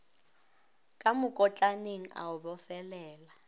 ka mokotlaneng a o bofelela